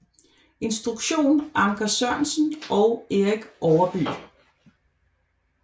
Instruktion Anker Sørensen og Erik Overbye